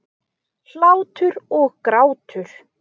Hlátur og grátur.